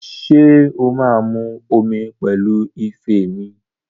Ṣé o máa mu omi pẹ̀lú ife mi?